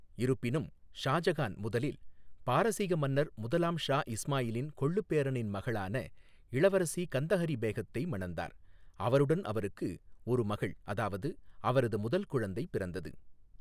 இருப்பினும், ஷாஜகான் முதலில் பாரசீக மன்னர் முதலாம் ஷா இஸ்மாயிலின் கொள்ளுப் பேரனின் மகளான இளவரசி கந்தஹரி பேகத்தை மணந்தார், அவருடன் அவருக்கு ஒரு மகள் அதாவது அவரது முதல் குழந்தை பிறந்தது.